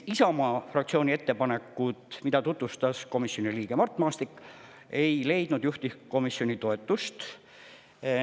Isamaa fraktsiooni ettepanekud, mida tutvustas komisjoni liige Mart Maastik, ei leidnud juhtivkomisjoni toetust.